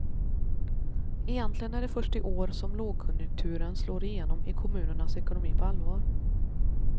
Egentligen är det först i år som lågkonjunkturen slår igenom i kommunernas ekonomi på allvar.